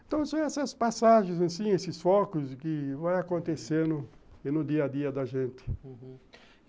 Então são essas passagens, esses focos que vão acontecendo no dia a dia da gente, uhum.